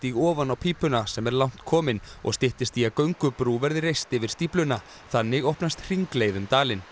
ofan á pípuna sem er langt kominn og styttist í að göngubrú verði reist yfir stífluna þannig opnast hringleið um dalinn